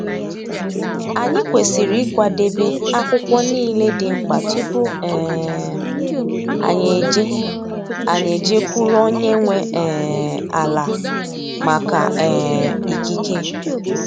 Anyị kwesịrị ịkwadebe akwụkwọ niile dị mkpa tupu um anyị eje anyị eje kwuru onye nwe um ala maka um ikike.